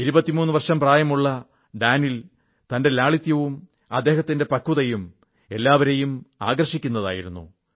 23 വർഷം പ്രായമുള്ള Daniil Medvedev ന്റെ ലാളിത്യവും അദ്ദേഹത്തിന്റെ പക്വതയും എല്ലാവരെയും ആകർഷിക്കുന്നതായിരുന്നു